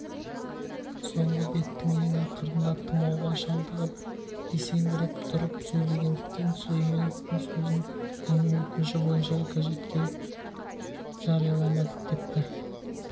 соңғы беттің ең ақырында тұмауға шалдығып есеңгіреп тұрып сөйлегендіктен сүлейменовтың сөзін оның өтініші бойынша газетке жарияламадық депті